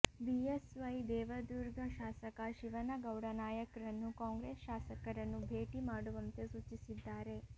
BSY Devadurga ಶಾಸಕ ಶಿವನಗೌಡ ನಾಯಕ್ ರನ್ನು Congress ಶಾಸಕರನ್ನು ಭೇಟಿ ಮಾಡುವಂತೆ ಸೂಚಿಸಿದ್ದಾರೆ